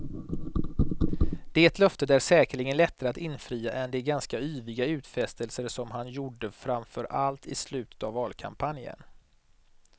Det löftet är säkerligen lättare att infria än de ganska yviga utfästelser som han gjorde framför allt i slutet av valkampanjen.